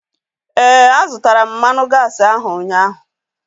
Ee, a zụtara m mmanụ gaasi ahu ụnyaahụ